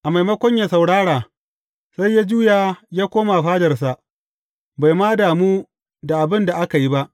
A maimakon yă saurara, sai ya juya ya koma fadarsa, bai ma damu da abin da aka yi ba.